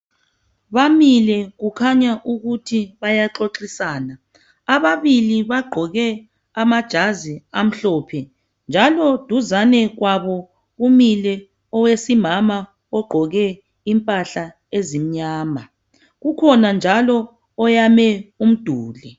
Bamile kukhanya ukuthi bayaxoxisana ,ababili bagqoke amajazi amhlophe. Njalo duzane kwabo kumile owesimama ogqoke impahla ezimnyama . Kukhona njalo oyame umduli.